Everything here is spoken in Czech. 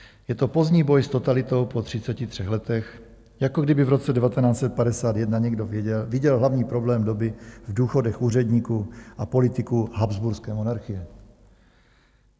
Je to pozdní boj s totalitou po 33 letech, jako kdyby v roce 1951 někdo viděl hlavní problém doby v důchodech úředníků a politiků habsburské monarchie.